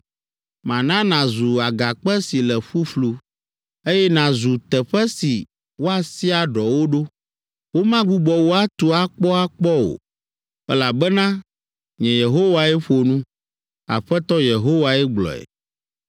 Mana nàzu agakpe si le ƒuƒlu, eye nàzu teƒe si woasia ɖɔwo ɖo. Womagbugbɔ wò atu akpɔakpɔ o, elabena, nye Yehowae ƒo nu. Aƒetɔ Yehowae gblɔe.